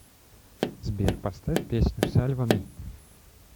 сбер поставь песню сальва ми